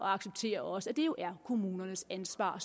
accepterer også at det jo er kommunernes ansvar